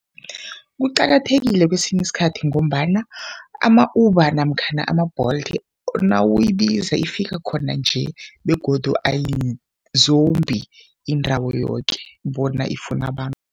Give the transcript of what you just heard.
Kuqakathekile kwesinye isikhathi ngombana ama-Uber namkhana ama-Bolt nawuyibiza ifika khona nje begodu ayizombi indawo yoke bona ifune abantu.